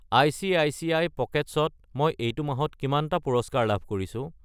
ICICI. Pockets ত মই এইটো মাহত কিমানটা পুৰস্কাৰ লাভ কৰিছো?